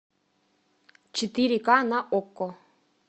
четыре ка на окко